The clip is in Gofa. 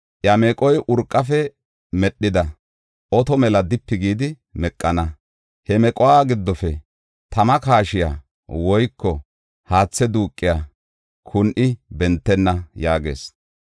Iya meqoy urqafe medhida oto mela dipi gidi meqana. He mequwa giddofe tama kaashiya woyko haathe duuqiya kun7i bentenna” yaagees.